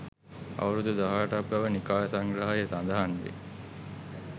අවුරුදු 18 ක් බව නිකාය සංග්‍රහයේ සඳහන් වේ.